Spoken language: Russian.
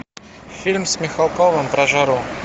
фильм с михалковым про жару